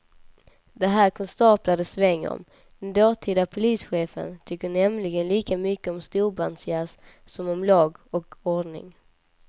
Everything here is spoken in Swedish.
Det här är konstaplar det svänger om, den dåtida polischefen tyckte nämligen lika mycket om storbandsjazz som om lag och ordning.